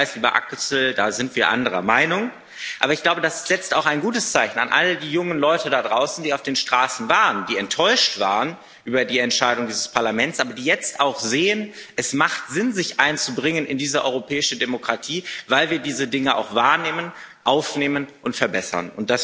13. Ich weiß, lieber Axel, da sind wir anderer Meinung, aber ich glaube, das setzt auch ein gutes Zeichen an all die jungen Leute da draußen, die auf den Straßen waren, die enttäuscht waren über die Entscheidung des Parlaments, aber die jetzt auch sehen, es macht Sinn, sich einzubringen in diese europäische Demokratie, weil wir diese Dinge auch wahrnehmen, aufnehmen und verbessern.